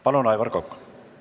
Palun, Aivar Kokk!